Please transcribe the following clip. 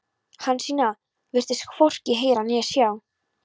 Hansína virtist hvorki heyra né sjá.